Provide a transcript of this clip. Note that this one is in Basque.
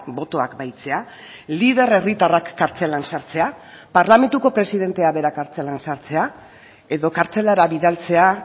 botoak bahitzea lider herritarrak kartzelan sartzea parlamentuko presidentea bera kartzelan sartzea edo kartzelara bidaltzea